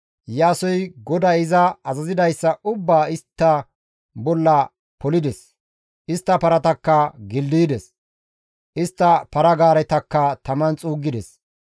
Iyaasoy GODAY iza azazidayssa ubbaa istta bolla polides; istta paratakka gildaydes; istta para-gaaretakka taman xuuggides.